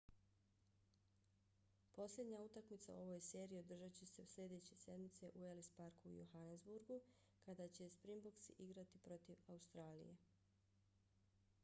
posljednja utakmica u ovoj seriji održat će se sljedeće sedmice u ellis parku u johannesburgu kada će springboksi igrati protiv australije